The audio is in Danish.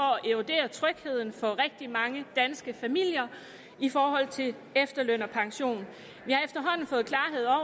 at trygheden eroderer for rigtig mange danske familier i forhold til efterløn og pension vi